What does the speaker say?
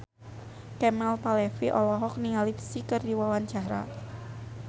Kemal Palevi olohok ningali Psy keur diwawancara